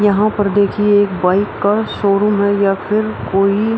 यहाँ पर देखिए एक बाइक का शोरूम है या फिर कोई --